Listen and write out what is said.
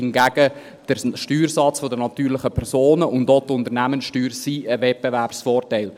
Hingegen sind der Steuersatz der natürlichen Personen und auch die Unternehmenssteuern ein Wettbewerbsvorteil.